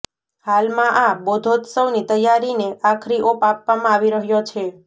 હાલમાં આ બોધોત્સવની તૈયારીને આખરી ઓપ આપવામાં આવી રહ્યો છે